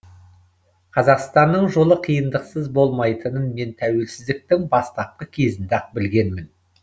қазақстанның жолы қиындықсыз болмайтынын мен тәуелсіздіктің бастапқы кезінде ақ білгенмін